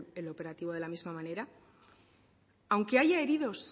el operativo de la misma manera aunque haya heridos